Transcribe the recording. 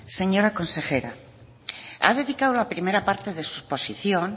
señora consejera ha dedicado la primera parte de su posición